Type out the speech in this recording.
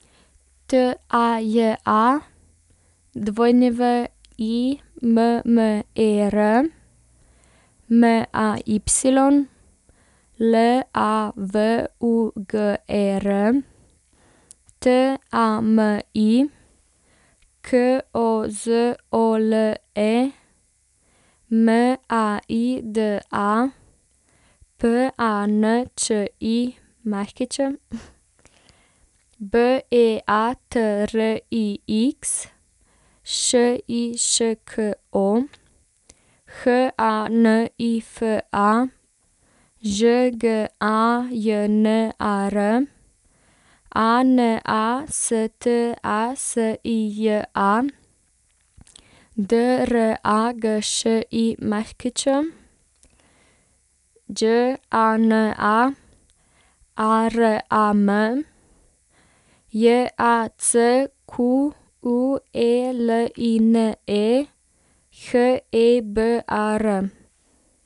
T A J A, W I M M E R; M A Y, L A V U G E R; T A M I, K O Z O L E; M A I D A, P A N Č I Ć; B E A T R I X, Š I Š K O; H A N I F A, Ž G A J N A R; A N A S T A S I J A, D R A G Š I Ć; Đ A N A, A R A M; J A C Q U E L I N E, H E B A R.